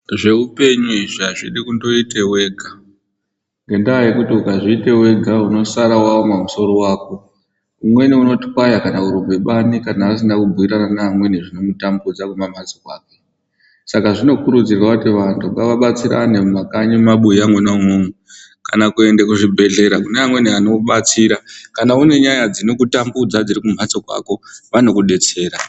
Zveupenyu izvi hazvidi kundoita wega , nokuti ukazviita wega unosara waoma musoro wako umweni unotikwaya kana asina kumboita zvimweni zvinomutambudza, saka zvinokurudzirwa kuti vantu ngaabatsirane mumakanye mumabuwa umomumu kana kuende kuzvibhedhlera kune amweni anobetsera kana unenyaya dzinokutambudza dzirikumeso kwako anokubetsera.